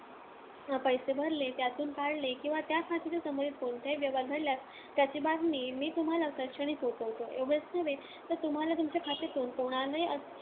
पैसे भरले, त्यातून काढले किंवा त्या खात्याशी संबंधित कोणताही व्यवहार घडल्यास त्याची बातमी मी तुम्हांला तत्क्षणीच पोहोचवतो. एवढेच नव्हे, तर तुम्हांला तुमच्याखात्यातून कोणालाही